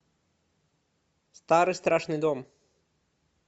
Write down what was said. старый страшный дом